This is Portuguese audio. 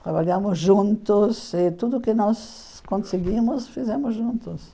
Trabalhamos juntos e tudo que nós conseguimos, fizemos juntos.